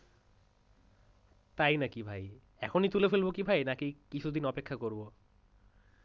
তাই নাকি ভাই? এখনই কি তুলে ফেলবো কি ভাই নাকি কিছুদিন অপেক্ষা করব?